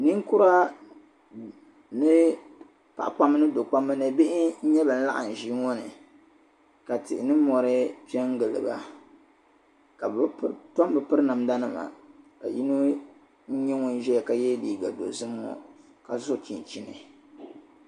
Ninkura ni paɣa kpamba ni do'kpamba ni bihi n-nyɛ ban laɣim ʒii ŋɔ ni ka tihi ni mɔri pen gili ba ka bɛ tom be piri namdanima ka yino nyɛ ŋun ʒeya ka ye liiga dozim ŋɔ ka so chinchini.